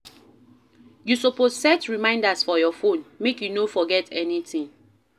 You suppose set reminders for your phone, make you no forget anytin.